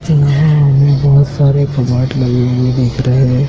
इसके अलावा हमें बहोत सारे कपबोर्ड लगे हुए दिख रहे हैं।